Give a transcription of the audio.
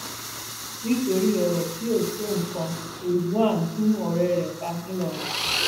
nítorí ọrọ tí ó tó nǹkan ridwan gun ọrẹ rẹ pa ńlọrọìn